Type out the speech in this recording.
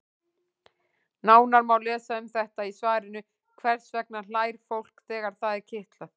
Nánar má lesa um þetta í svarinu Hvers vegna hlær fólk þegar það er kitlað?